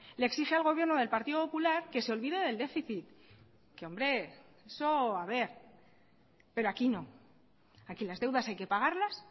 le exige al gobierno del partido popular que se olvide del déficit que hombre eso haber pero aquí no aquí las deudas hay que pagarlas